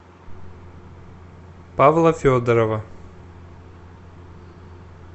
павла федорова